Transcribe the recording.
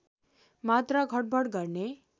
मात्रा घटबढ गर्ने